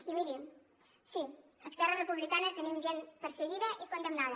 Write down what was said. i mirin sí esquerra republicana tenim gent perseguida i condemnada